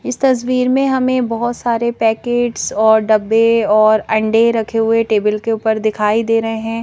इस तस्वीर में हमें बहुत सारे पैकेट्स और डब्बे और अंडे रखे हुए टेबल के ऊपर दिखाई दे रहे हैं।